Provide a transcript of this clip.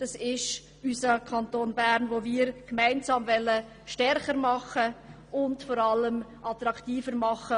Wir wollen unseren Kanton als Lebensort für seine Bevölkerung gemeinsam stärker und vor allem attraktiver machen.